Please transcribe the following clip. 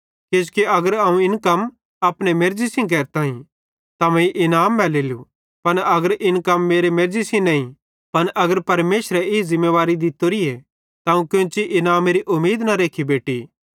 किजोकि अगर अवं इन कम अपने मेर्ज़ी सेइं केरताईं त मीं इनाम मैलेलू पन अगर इन मेरी मेर्ज़ी सेइं नईं पन अगर परमेशरे ई ज़िमेदारी दित्तोरीए त अवं कोन्ची इनामेरी उमीद न रेख्खी बेटि